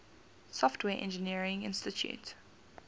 software engineering institute